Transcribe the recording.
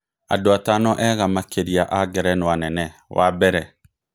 Andũ atano ega makĩria a Ngerenwa nene, wa mbere: